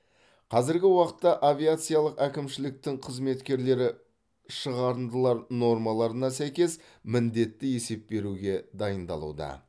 қазіргі уақытта авиациялық әкімшіліктің қызметкерлері шығарындылар нормаларына сәйкес міндетті есеп беруге дайындалуда